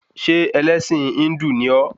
Ṣé ẹlẹ́sìn Híndù ni ọ́?